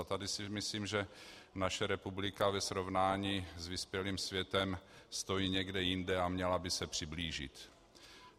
A tady si myslím, že naše republika ve srovnání s vyspělým světem stojí někde jinde a měla by se přiblížit.